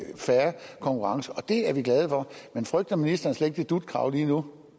fair konkurrence og det er vi glade for men frygter ministeren slet ikke det dut krav lige nu